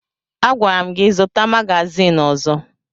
Agwara m gị zụta magazin ọzọ!